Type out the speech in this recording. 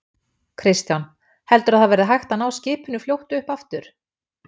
Kristján: Heldurðu að það verði hægt að ná skipinu fljótt upp aftur?